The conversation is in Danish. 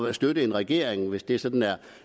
at støtte en regering hvis det sådan